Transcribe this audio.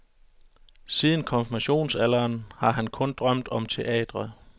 Siden konfirmationsalderen har han kun drømt om teatret.